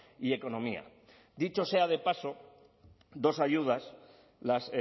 y economía dicho sea de paso dos ayudas las